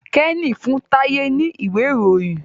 Kenny fún Taye ní Ìwé-ìròyìn.